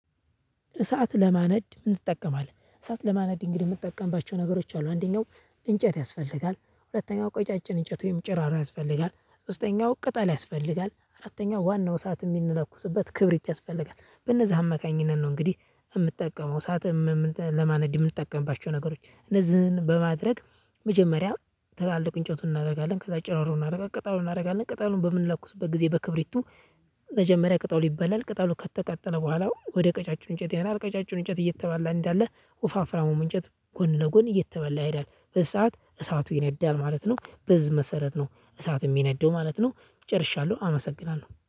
እሳት ለማነድ ምን ትጠቀማለህ? እሳት ለማነድ እንግዲህ የምጠቀምባቸው ነገሮች አሉ አንደኛው እንጨት ያስፈልጋል ሁለተኛው ቀጫጭን እንጨት ወይም ጭሮሮ ያስፈልጋል ሶስተኛው ቅጠል ያስፈልጋል አራተኛው ዋናው እሳት የሚለኩስበትበት ክብሪት ያስፈልጋል በነዚሀ አማካኝነት ነው። እንግዲህ የምጠቀመው እሳት። ለማነድ የምንጠቀምባቸው ነገሮች እነዚህን በማድረግ መጀመሪያ ትላልቅ እንጨቱን እናደርጋለን ከዛ ጭራሮ እናደርጋለን ቅጠሉን እናደርጋለን ቅጠሉን በምንለኩትበት ጊዜ በክብሪቱ መጀመሪያ ቅጠሉ ይባላል ቅጠሉ ከተቃጠለ በኋላ ወደ ቀጫጭን እንጨት ይሄዳል ቀጫጭኑ እንጨት እየተባላ እንዳለ ወፋፍራሙም እንጨት ጎን ለጎን እየተበላ ይሄዳል በዚህ ሰዓት እሳቱ ይነዳል ማለት ነው። በዚህ መሰረት ነው እሳት የሚነደው ማለት ነው። ጨርሻለሁ አመሰግናለሁ